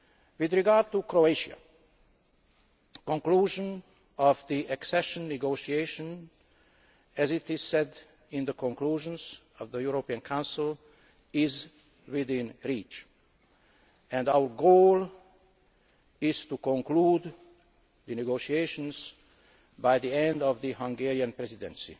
With regard to Croatia, conclusion of the accession negotiations, as stated in the conclusions of the European Council, is within reach, and our goal is to conclude the negotiations by the end of the Hungarian Presidency